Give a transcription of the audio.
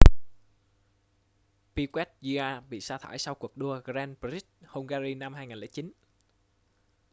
piquet jr bị sa thải sau cuộc đua grand prix hungary năm 2009